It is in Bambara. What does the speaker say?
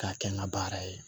K'a kɛ n ka baara ye